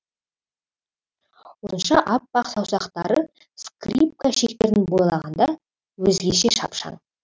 ұзынша аппақ саусақтары скрипка шектерін бойлағанда өзгеше шапшаң